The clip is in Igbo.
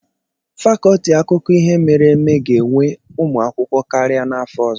Fakọlti akụkọ ihe mere eme ga-ewe ụmụ akwụkwọ karịa n'afọ ọzọ.